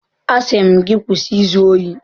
Asị m gị kwụsị izu ohi!